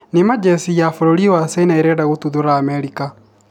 Nĩ ma jesi ya bũrũri wa China ĩrenda gũtuthũra Amerika?